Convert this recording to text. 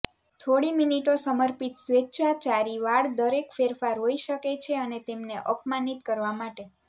થોડી મિનિટો સમર્પિત સ્વેચ્છાચારી વાળ દરેક ફેરફાર હોઈ શકે છે અને તેમને અપમાનિત કરવા માટે